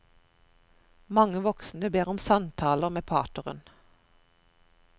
Mange voksne ber om samtaler med pateren.